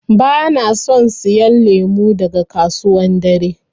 Bana son siyan lemu daga kasuwan dare.